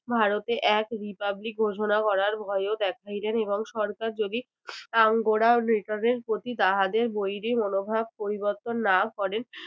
ভারতে এক republic ঘোষণা করার ভয়ও দেখাইলেন এবং সরকার যদি return এর প্রতি তাহাদের বৈরী মনোভাব পরিবর্তন না করেন